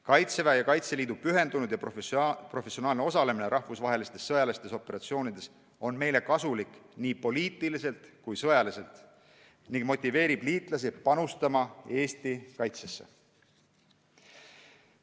Kaitseväe ja Kaitseliidu pühendunud ja professionaalne osalemine rahvusvahelistes sõjalistes operatsioonides on meile kasulik nii poliitiliselt kui sõjaliselt ning motiveerib liitlasi panustama Eesti kaitsesse.